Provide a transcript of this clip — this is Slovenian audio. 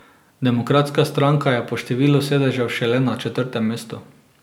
Demokratska stranka je po številu sedežev šele na četrtem mestu.